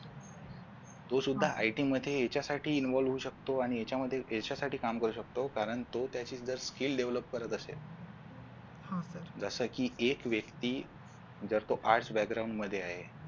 तो सुद्धा IT मध्ये याच्यासाठी involve होऊ शकतो आणि याच्यामध्ये याच्यासाठी काम करू शकतो कारण तो त्याचे जर skill develop करत असेल जसं की एक व्यक्ती जर तो arts background मध्ये आहे